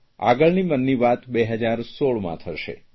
આગામી મનની વાત 2016માં થશે